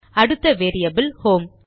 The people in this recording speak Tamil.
அடுத்த வேரியபில் ஹோம்